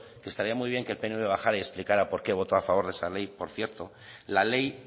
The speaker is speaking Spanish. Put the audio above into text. que estaría muy bien que el pnv bajara y explicara por qué voto a favor de esa ley por cierto la ley